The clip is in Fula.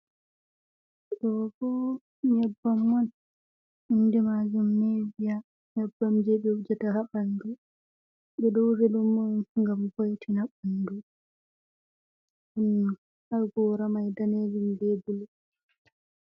Ɗo bo nyebbam on. inde majum niviya. Nyebbam jei be wujata haa ɓandu. Ɓe ɗo wujaɗum on ngam vo'itina ɓandu, ɗon haa gora mai danejum be bulu.